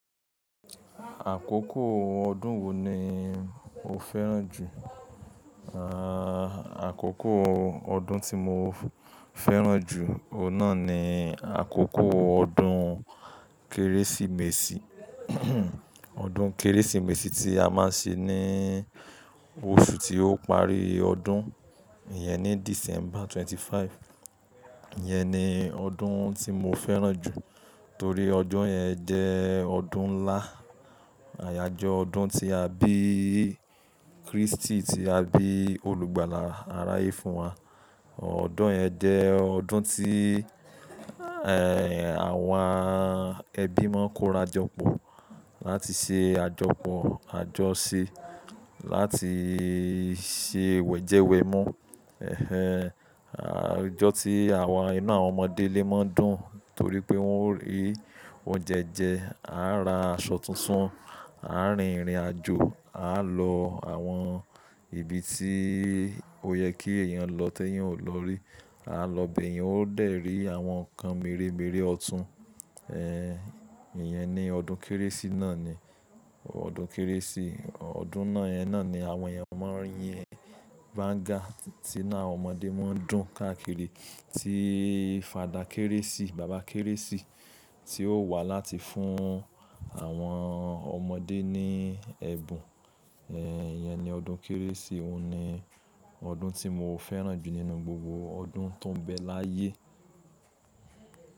Àkókò ọdún wo ni o fẹ́ràn jù? Àà, àkókò ọdún tí mo fẹ́ràn jù, ohùn nà ni àkókò ọdún Kérésìmesì. Ọdún Kérésìmesì tí a má ń ṣe ní oṣù tí ó parí ọdún, ìyẹn ni December twenty-fifth. Iyẹn ni ọdún tí mo fẹ́ràn jù torí ọdún yẹn jẹ́ ọdún ńlá. Àyájọ́ ọdún tí a bí Kristi, tí a bí olùgbàlà àrá yé fún wa. Ọdún yẹn jẹ́ ọdún tí àwọn ẹbí máa ń kóra jọpọ̀ láti ṣe àjọpọ̀ àjọṣe, láti ṣe wẹ̀jẹwẹ̀ mú. Àjọ tí àwọn inu àwọn ọmọdé lé máa ń dùn torí pé wọ́n rí oúnjẹ jẹ, a ra aṣọ tuntun, a rìn ìrìnàjò, a lọ àwọn ibi tí ó yẹ kí èèyàn lọ tí èèyàn ò lọ rí. A lọ bẹ̀ yen, ó dẹ̀ rí àwọn nǹkan mírémírẹ ọ̀tún. Iyẹn ni ọdún Kérésì náà ni. Ọdún Kérésì, ọdún náà yẹn náà ni àwọn èèyàn máa yín bàńgá tí inu àwọn ọmọdé má ń dùn káàkiri tí fada Kérésì, bàbá Kérésì tí ó wà láti fún àwọn ọmọdé ní ẹbùn. Iyẹn ni ọdún Kérésì, òun ni ọdún tí mo fẹ́ràn jù nínú gbogbo ọdún tó ń bẹ láyé.